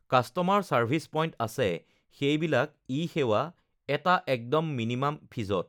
customer service point আছে সেইবিলাক ই-সেৱা এটা একদম মিনিমান ফিজত